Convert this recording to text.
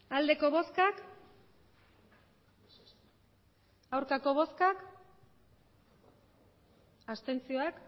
emandako botoak